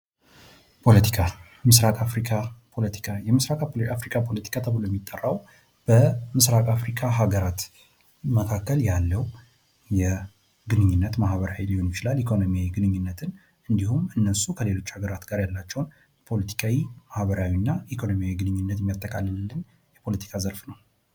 ፖለቲካ፤ ምስራቅ አፍሪካ ፖለቲካ፦ የምስራቅ አፍሪካ ፖለቲካ ተብሎ የሚጠራው በምስራቅ አፍሪካ ሃገራት መካከል ያለው ግንኙነት ኢኮኖሚያዊም ሊሆን ይችላል ማህበራዊ ግንኙነትን እንዲሁም እነሱ ከሌሎች ሃገራት ጋር ያላቸውን ፖለቲካዊ፣ ማህበራዊና ኢኮኖሚያዊ ግንኙንትን የሚያጠቃልልን የፖለቲካ ዘርፍ ነው።